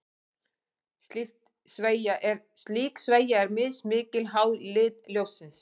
Slík sveigja er mismikil, háð lit ljóssins.